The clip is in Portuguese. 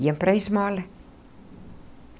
Ia para a esmola.